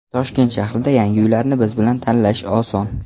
Toshkent shahrida yangi uylarni biz bilan tanlash oson!